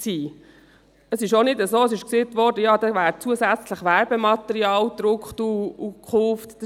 Es trifft auch nicht zu, wie gesagt worden ist, dass zusätzliches Werbematerial gedruckt und gekauft wird.